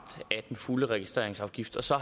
af den fulde registreringsafgift og så